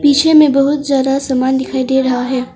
पीछे में बहुत ज्यादा समान दिखाई दे रहा है।